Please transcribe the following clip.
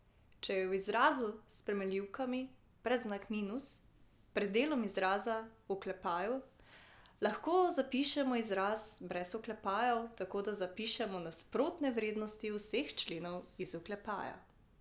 Če je v izrazu s spremenljivkami predznak minus pred delom izraza v oklepaju, lahko zapišemo izraz brez oklepajev tako, da zapišemo nasprotne vrednosti vseh členov iz oklepaja.